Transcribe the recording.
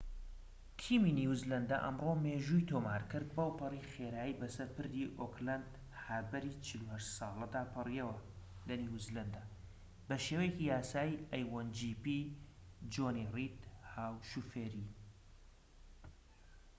جۆنی ڕید هاو شۆفێری a1gp تیمی نیوزلەندە ئەمڕۆ مێژووی تۆمار کرد بەوپەڕی خێرایی بەسەر پردی ئۆکلەند هاربەری ٤٨ ساڵەدا پەڕیەوە لە نیوزیلەندە بە شێوەیەکی یاسایی